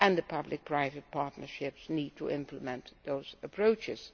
Public private partnerships need to implement those approaches.